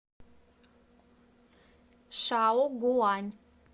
шаогуань